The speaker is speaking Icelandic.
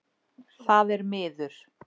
Það er miður.